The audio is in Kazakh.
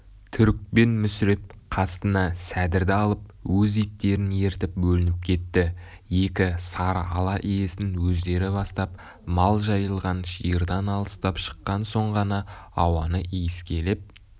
түрікпен мүсіреп қасына сәдірді алып өз иттерін ертіп бөлініп кетті екі сары ала иесін өздері бастап мал жайылған шиырдан алыстап шыққан соң ғана ауаны иіскелеп